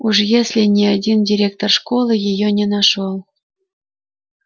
уж если ни один директор школы её не нашёл